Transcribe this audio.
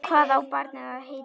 Hvað á barnið að heita?